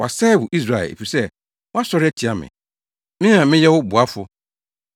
“Wɔasɛe wo, Israel, efisɛ woasɔre atia me, me a meyɛ wo boafo.